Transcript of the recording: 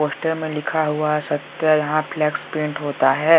Poster में लिखा हुआ है सत्या यहां फ्लेक्स पेंट होता है।